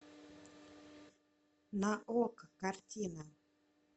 на окко картина